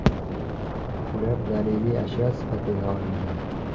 Ular daliliy ashyo sifatida olingan.